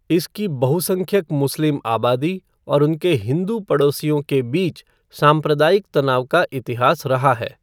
इसकी बहुसंख्यक मुस्लिम आबादी और उनके हिंदू पड़ोसियों के बीच सांप्रदायिक तनाव का इतिहास रहा है।